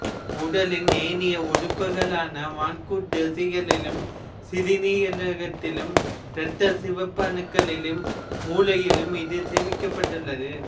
உடலின் ஏனைய உறுப்புகளான வன்கூட்டுத் தசைகளிலும் சிறுநீரகத்திலும் இரத்தச் சிவப்பணுக்களிலும் மூளையிலும் இது சேமிக்கப்பட்டுள்ளது